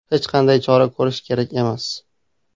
Hech qanday chora ko‘rish kerak emas”.